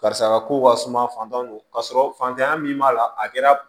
Karisa ka kow ka suma fantanw ka sɔrɔ fantanya min b'a la a kɛra